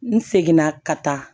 N seginna ka taa